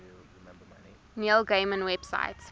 neil gaiman website